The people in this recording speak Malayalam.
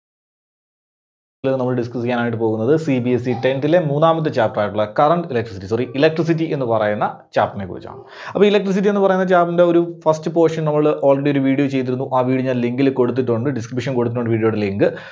ഇന്ന് നമ്മള് discuss ചെയ്യാനായിട്ട് പോകുന്നത് CBSETenth ലെ മൂന്നാമത്തെ chapter ആയിട്ടുള്ള Current Electricity sorry, Electricity എന്ന് പറയുന്ന Chapter നെ കുറിച്ചാണ്. അപ്പോ Electricity എന്ന് പറയുന്ന Chapter ന്റെ ഒരു first portion നമ്മള് already ഒരു video ചെയ്തിരുന്നു. ആ video ഞാൻ link ല് കൊടുത്തിട്ടുണ്ട്. Description കൊടുത്തിട്ടുണ്ട് video ടെ link.